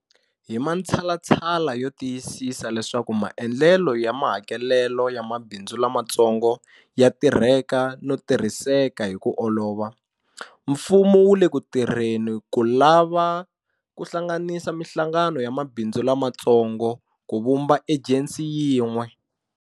Hi matshalatshala yo tiyisisa leswaku maendlelo ya mahakelelo ya mabindzu lamatsongo ya tirheka no tirhiseka hi ku olova, mfumo wu le ku tirheni ko lava ku hlanganisa mihlangano ya mabindzu lamatsongo ku vumba ejensi yin'we.